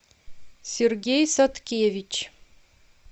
сергей садкевич